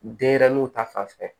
Denyɛrɛninw ta fanfɛ